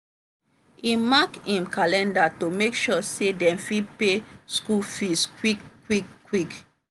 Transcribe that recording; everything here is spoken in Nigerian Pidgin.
e mark him calendar to make sure say dem fit pay school fees quick quick quick.